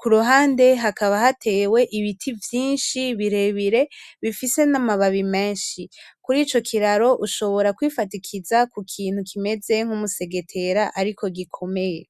kuruhande hakaba hatewe ibiti vyinshi birebire bifise n'amababi menshi, kur'ico kiraro ushobora kwifatikiza kukintu kimeze nk'umusegetera ariko gikomeye.